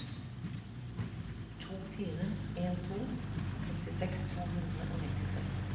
to fire en to femtiseks to hundre og nittitre